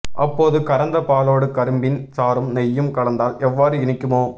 அப்போது கறந்த பாலோடு கரும்பின் சாறும் நெய்யும் கலந்தால் எவ்வாறு இனிக்குமோ